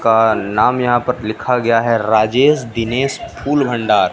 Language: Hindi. का नाम यहां पर लिखा गया है राजेश दिनेश फूल भंडार।